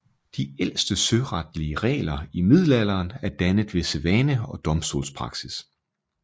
De ældste søretlige regler i middelalderen er dannet ved sædvane og domstolspraksis